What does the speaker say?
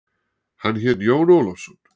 Hann hét Jón Ólafsson.